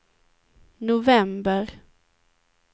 november